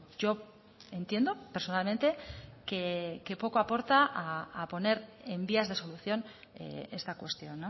yo entiendo personalmente que poco aporta a poner en vías de solución esta cuestión